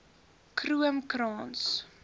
kroomkrans